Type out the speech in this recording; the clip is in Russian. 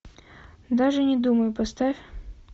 даже не думай поставь